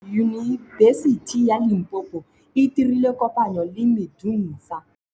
Yunibesiti ya Limpopo e dirile kopanyô le MEDUNSA.